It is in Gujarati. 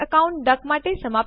તે બે મુખ્ય ઉપયોગો છે